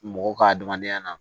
Mɔgɔ ka adamadenya na